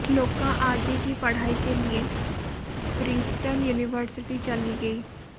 श्लोका आगे की पढ़ाई के लिए प्रिंस्टन यूनिवर्सिटी चली गईं